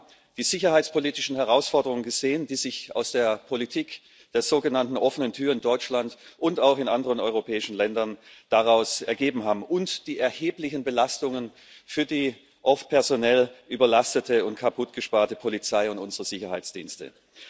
Wir haben die sicherheitspolitischen Herausforderungen gesehen, die sich aus der Politik der sogenannten offenen Tür in Deutschland und auch in anderen europäischen Ländern ergeben haben, und die erheblichen Belastungen für die oft personell überlastete und kaputtgesparte Polizei und unsere Sicherheitsdienste.